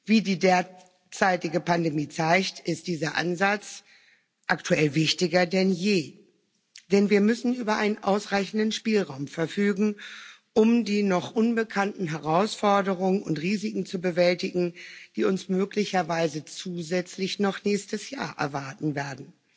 Wie die derzeitige Pandemie zeigt, ist dieser Ansatz aktuell wichtiger denn je, denn wir müssen über einen ausreichenden Spielraum verfügen, um die noch unbekannten Herausforderungen und Risiken zu bewältigen, die uns möglicherweise zusätzlich noch nächstes Jahr erwarten werden.